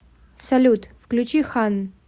салют включи ханн